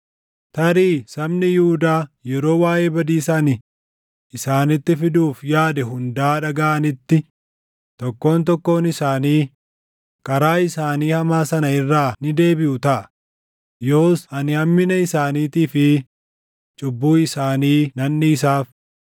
Tarii sabni Yihuudaa yeroo waaʼee badiisa ani isaanitti fiduuf yaade hundaa dhagaʼanitti tokkoon tokkoon isaanii karaa isaanii hamaa sana irraa ni deebiʼu taʼa; yoos ani hammina isaaniitii fi cubbuu isaanii nan dhiisaaf.”